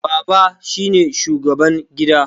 Baba shine shugaban gida